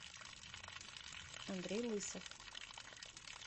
андрей лысов